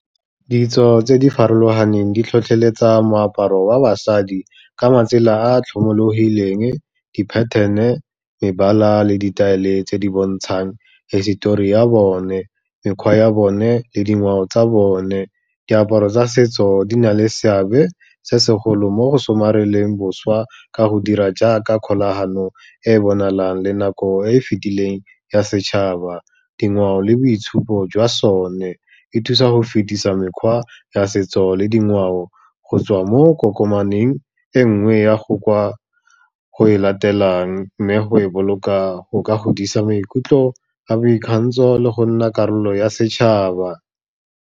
Ditso tse di farologaneng di tlhotlheletsa moaparo wa basadi ka matsela a tlhomologileng, di-pattern-e, mebala le ditaele tse di bontshang hisetori ya bone, mekgwa ya bone le dingwao tsa bone. Diaparo tsa setso di na le seabe se segolo mo go somareleng boswa ka go dira jaaka kgolagano e bonalang le nako e e fetileng ya setšhaba. Dingwao le boitshupo jwa sone, e thusa go fetisa mekgwa ya setso le dingwao go tswa mo kokomaneng e nngwe ya go kwa ko e latelang, mme go e boloka go ka godisa maikutlo a boikgantsho le go nna karolo ya setšhaba.